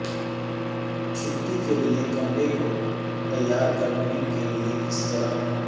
چھٹی کے لئے کمرے کو تیار کرنے کے لئے کس طرح